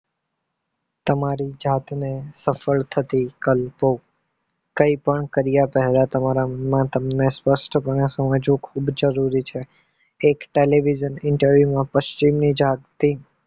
તમારી જાતને સફળ થતી કલ તો કઈ પણ કાર્ય પહેલા તમને સ્પષ્ટ સમજવું ખુબ જરૂરી છે. પશ્ચિમની જાત થી